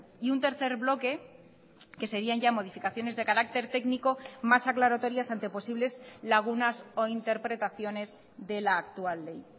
y un tercer bloque que serían ya modificaciones de carácter técnico más aclaratorias ante posibles lagunas o interpretaciones de la actual ley